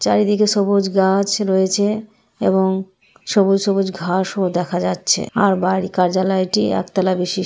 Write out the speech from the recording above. চারিদিকে সবুজ গাছ রয়েছে এবং সবুজ সবুজ ঘাস ও দেখা যাচ্ছে আর বাড়ি কার্যালয়টি একতালা বিশি--